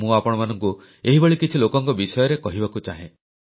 ମୁଁ ଆପଣମାନଙ୍କୁ ଏହିଭଳି କିଛି ଲୋକଙ୍କ ବିଷୟରେ କହିବାକୁ ଚାହେଁ